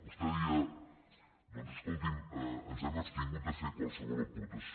vostè deia doncs escolti’m ens hem abstingut de fer qualsevol aportació